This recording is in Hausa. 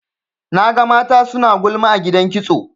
Naga mata suna gulma a gidan kitso.